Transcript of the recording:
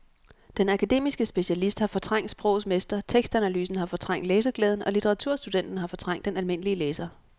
Den akademiske specialist har fortrængt sprogets mester, tekstanalysen har fortrængt læseglæden og litteraturstudenten har fortrængt den almindelige læser.